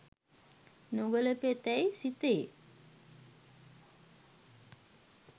නොගැලපෙතැයි සිතේ